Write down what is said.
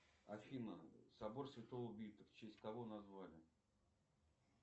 афина собор святого вита в честь кого назвали